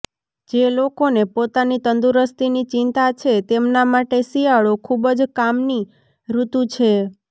જે લોકોને પોતાની તંદુરસ્તીની ચિંતા છે તેમના માટે શિયાળો ખૂબ જ કામની ઋતુ છે